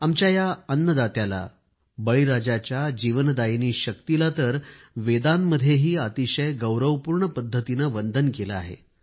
आमच्या या अन्नदात्याला बळीराजाच्या जीवनदायिनी शक्तीला तर वेदांमध्येही अतिशय गौरवपूर्ण पद्धतीने वंदन केले आहे